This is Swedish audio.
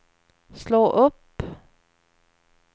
slå upp